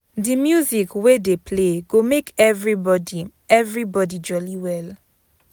Di music wey dey play go make everybody everybody jolly well.